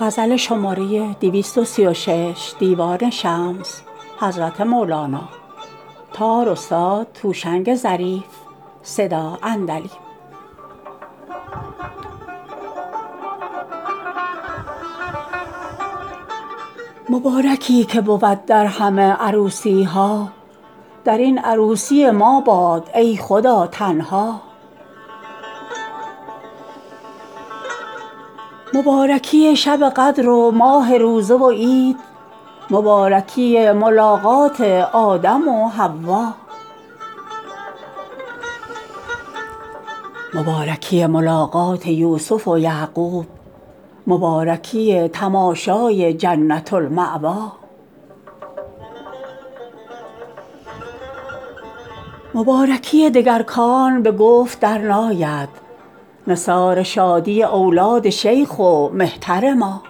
مبارکی که بود در همه عروسی ها در این عروسی ما باد ای خدا تنها مبارکی شب قدر و ماه روزه و عید مبارکی ملاقات آدم و حوا مبارکی ملاقات یوسف و یعقوب مبارکی تماشای جنة المأوی مبارکی دگر کان به گفت درناید نثار شادی اولاد شیخ و مهتر ما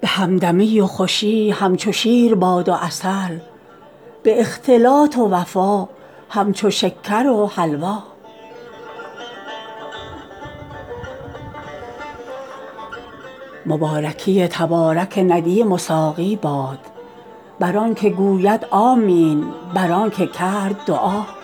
به همدمی و خوشی همچو شیر باد و عسل به اختلاط و وفا همچو شکر و حلوا مبارکی تبارک ندیم و ساقی باد بر آنک گوید آمین بر آنک کرد دعا